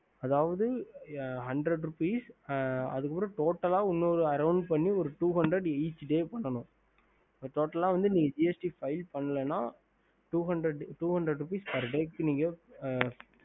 ஹம்